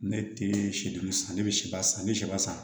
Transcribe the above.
Ne tɛ sido san ne bɛ siba san n bɛ siba san